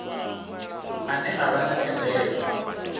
ane a vha na thendelo